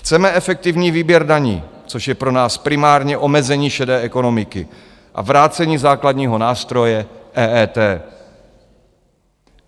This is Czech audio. Chceme efektivní výběr daní, což je pro nás primárně omezení šedé ekonomiky, a vrácení základního nástroje EET.